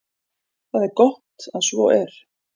Það er gott að svo er.